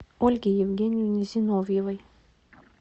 ольге евгеньевне зиновьевой